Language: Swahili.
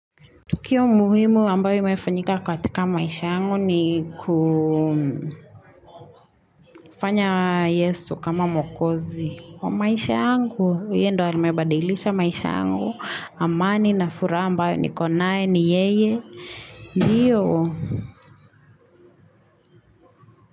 Kiyo muhimu ambayo imefanyika katika maisha yangu ni kufanya Yesu kama mwokozi. Maisha yangu, yeye ndo amebadilisha maisha yangu, amani na furaha ambayo niko nae, ni yeye, ndiyo.